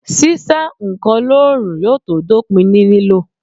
Sísá ǹkan lóòrùn yóò tó dópin ní lílò